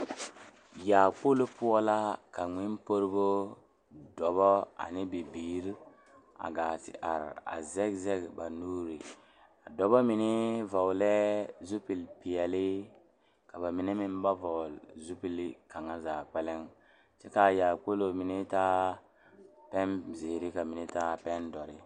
Yaakpolo poɔ la ka Ngmenpuoribo dɔba ane bibiiri a gaa te are a zɛge zɛge ba nuuri a dɔba mine vɔglɛɛ zupilipeɛle ka ba mine meŋ ba vɔgle zupili kaŋa zaa kpɛlɛŋ kyɛ k,a yaakpolo mine taa pɛnzeere ka mine taa pɛndɔre.